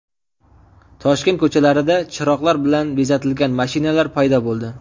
Toshkent ko‘chalarida chiroqlar bilan bezatilgan mashinalar paydo bo‘ldi.